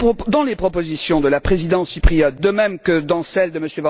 Dans les propositions de la Présidence chypriote, de même que dans celles de M.